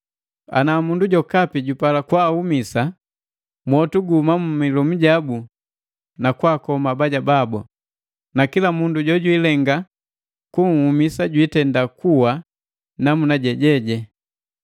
Ana mundu jokapi jupala kwaahumisa, mwotu guhuma mu milomu jabu na kwakoma abaja babu. Na kila mundu jojwilenga kunhumisa jwitenda kuwa namuna jeje.